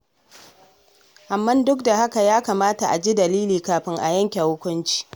Amma duk da haka ya kamata a ji dalili kafin a yanke hukunci.